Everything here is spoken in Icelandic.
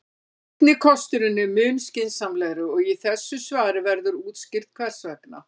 Seinni kosturinn er mun skynsamlegri og í þessu svari verður útskýrt hvers vegna.